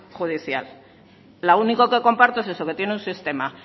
judicial lo único que comparto es eso que tiene un sistema